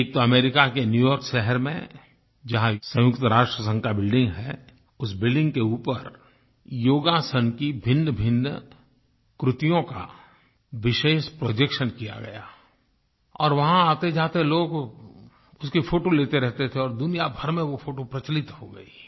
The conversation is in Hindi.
एक तो अमेरिका के न्यू यॉर्क शहर में जहाँ संयुक्त राष्ट्र संघ की बिल्डिंग है उस बिल्डिंग के ऊपर योगासन की भिन्नभिन्न कृतियों का विशेष प्रोजेक्शन किया गया और वहाँ आतेजाते लोग उसकी फोटो लेते रहते थे और और दुनिया भर में वो फोटो प्रचलित हो गयी